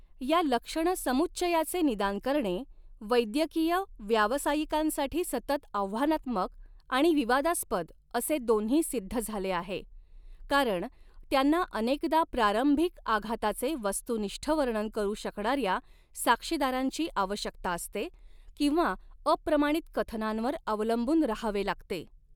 या लक्षणसमुच्चयाचे निदान करणे वैद्यकीय व्यावसायिकांसाठी सतत आव्हानात्मक आणि विवादास्पद असे दोन्ही सिद्ध झाले आहे, कारण त्यांना अनेकदा प्रारंभिक आघाताचे वस्तुनिष्ठ वर्णन करू शकणाऱ्या साक्षीदारांची आवश्यकता असते किंवा अप्रमाणित कथनांवर अवलंबून राहावे लागते.